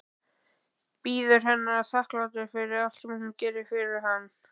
Bíður hennar þakklátur fyrir allt sem hún gerir fyrir hann.